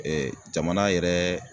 Ɛɛ jamana yɛrɛ